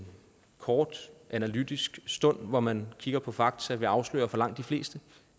kort analytisk stund hvor man kigger på fakta vil afsløre for langt de fleste